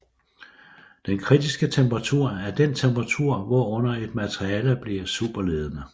Den kritiske temperatur er den temperatur hvorunder et materiale bliver superledende